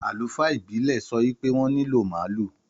Àlùfáà ìbílè sọ wípé wọn nílò màálù